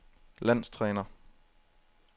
landstræner